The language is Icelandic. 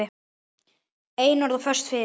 Einörð og föst fyrir.